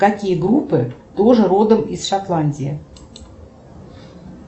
какие группы тоже родом из шотландии